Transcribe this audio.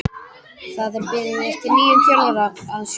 Það er beðið eftir nýjum þjálfara að sunnan.